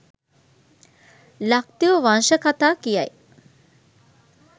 ලක්දිව වංශ කතා කියයි.